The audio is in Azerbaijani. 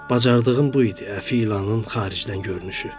Bacardığım bu idi: Əfi ilanın xaricdən görünüşü.